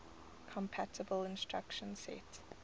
compatible instruction set